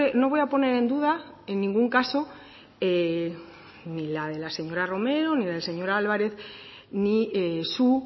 no voy a poner en duda en ningún caso ni la de la señora romero ni la del señor álvarez ni su